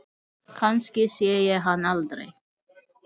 Kannski sé ég hann aldrei.